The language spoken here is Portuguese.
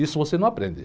Isso você não aprende.